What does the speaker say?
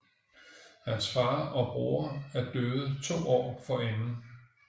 Hans far og bror er døde to år forinden